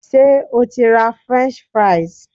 Ṣé o ti ra French fries?